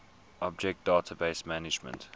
object database management